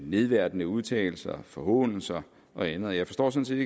nedværdigende udtalelser forhånelser og andet og jeg forstår sådan